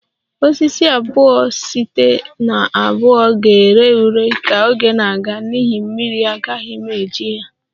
Osisi abuo site na abuo ga-ere ure ka oge na-aga n'ihi mmiri agaghị m eji ya